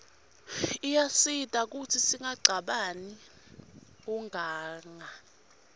iyasita kutsi singacabani kuganga